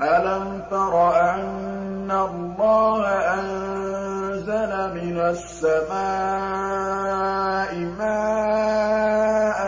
أَلَمْ تَرَ أَنَّ اللَّهَ أَنزَلَ مِنَ السَّمَاءِ مَاءً